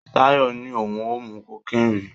Tayo ní òun ò mu cocaine rí.